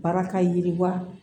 Baara ka yiriwa